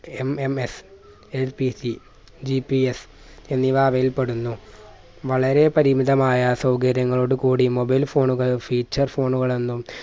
MMSLPCGPS എന്നിവ അവയിൽ പെടുന്നു വളരെ പരിമിതമായ സൗകര്യങ്ങളോട് കൂടി mobile phone കൾ feature phone കൾ എന്നും